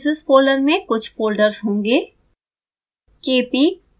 step analysis folder में कुछ folders होंगे